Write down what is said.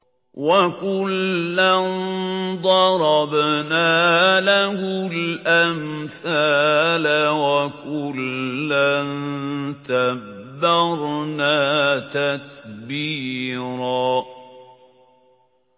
وَكُلًّا ضَرَبْنَا لَهُ الْأَمْثَالَ ۖ وَكُلًّا تَبَّرْنَا تَتْبِيرًا